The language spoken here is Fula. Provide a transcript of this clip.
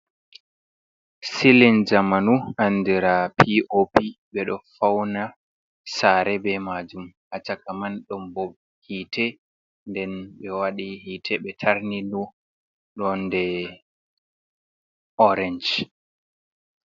Silin jamanu andira pop be do fauna sare be majum a caka man ɗom bo hite nden be wadi hite be tarni nu ɗonde orance.